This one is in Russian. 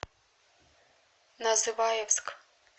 называевск